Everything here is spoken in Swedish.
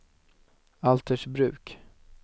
Altersbruk